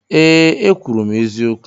Ee, ekwuru m eziokwu.